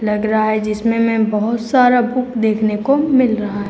लग रहा है जिसमें हमे बहोत सारा बुक देखने को मिल रहा है।